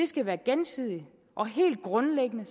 skal være gensidigt og helt grundlæggende